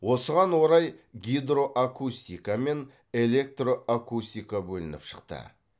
осыған орай гидроакустика мен электроакустика бөлініп шықты